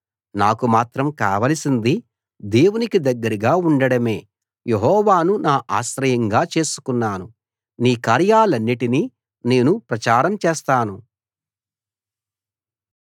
నాకు మాత్రం కావలసింది దేవునికి దగ్గరగా ఉండడమే యెహోవాను నా ఆశ్రయంగా చేసుకున్నాను నీ కార్యాలన్నిటినీ నేను ప్రచారం చేస్తాను